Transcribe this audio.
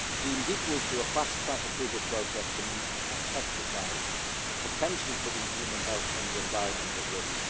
deemed equal to a fast track approval process for new pesticides, potentially putting human health and the environment at risk